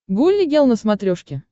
гулли гел на смотрешке